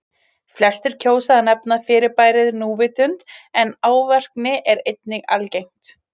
Flestir kjósa að nefna fyrirbærið núvitund en árvekni er einnig algengt.